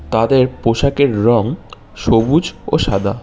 তাদের পোশাকের রং সবুজ ও সাদা।